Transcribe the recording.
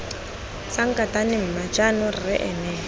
sankatane mma jaanong rre ene